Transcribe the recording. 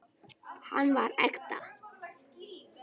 Hann var ekta.